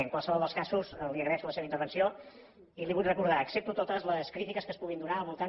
en qualsevol dels casos li agraeixo la seva intervenció i li vull recordar accepto totes les crítiques que es puguin donar al voltant